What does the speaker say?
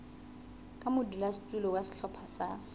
ka modulasetulo wa sehlopha sa